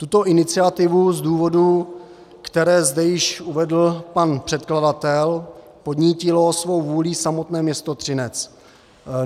Tuto iniciativu z důvodů, které zde již uvedl pan předkladatel, podnítilo svou vůlí samotné město Třinec.